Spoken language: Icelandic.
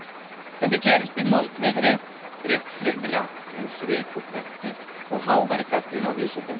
Þetta gerist í moldviðri brigslyrða um svik og pretti og háværri gagnrýni á vísindin.